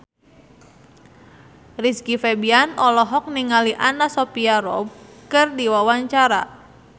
Rizky Febian olohok ningali Anna Sophia Robb keur diwawancara